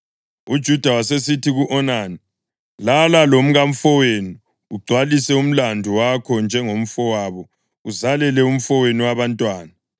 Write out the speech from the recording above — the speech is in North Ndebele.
UJuda wasesithi ku-Onani, “Lala lomkamfowenu ugcwalise umlandu wakho njengomfowabo uzalele umfowenu abantwana.”